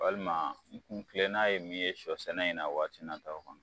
Walima n kun kilena ye min ye sɔ sɛnɛ in na waati na taw kɔnɔ